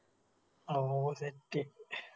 ആ ഓ Set